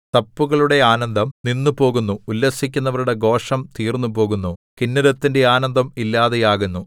തപ്പുകളുടെ ആനന്ദം നിന്നുപോകുന്നു ഉല്ലസിക്കുന്നവരുടെ ഘോഷം തീർന്നുപോകുന്നു കിന്നരത്തിന്റെ ആനന്ദം ഇല്ലാതെയാകുന്നു